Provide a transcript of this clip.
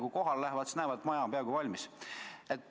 Kui kohale lähevad, siis näevad, et maja on peaaegu valmis.